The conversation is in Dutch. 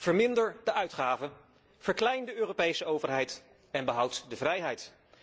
Verminder de uitgaven, verklein de Europese overheid, en behoud de vrijheid.